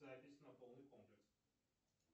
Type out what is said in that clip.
запись на полный комплекс